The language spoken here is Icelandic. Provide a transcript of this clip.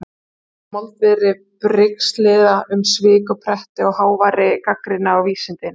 Þetta gerist í moldviðri brigslyrða um svik og pretti og háværri gagnrýni á vísindin.